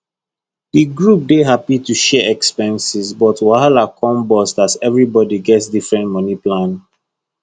the group dey happy to share expenses but wahala come burst as everybody get different money plan